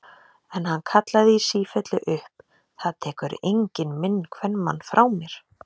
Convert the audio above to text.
En hann kallaði í sífellu upp: Það tekur enginn minn kvenmann frá mér!